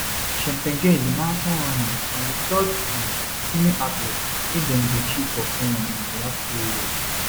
cheptegei di marathon runner na di third um female athlete wey dem go kill for kenya in di last three years